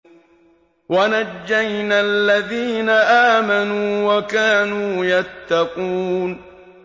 وَنَجَّيْنَا الَّذِينَ آمَنُوا وَكَانُوا يَتَّقُونَ